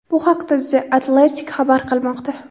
Bu haqda The Athletic xabar qilmoqda .